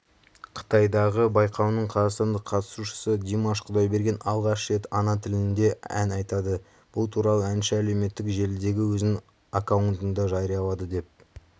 қытайдағы байқауының қазақстандық қатысушысы димаш құдайберген алғаш рет ана тілінде ән айтады бұл туралы әнші әлеуметтік желідегі өзінің аккаунтында жариялады деп